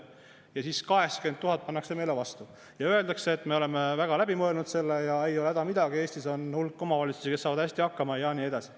Aga siis 80 000 pannakse meile vastu ja öeldakse, et me oleme väga läbi mõelnud selle ja ei ole häda midagi, Eestis on hulk omavalitsusi, kes saavad hästi hakkama, ja nii edasi.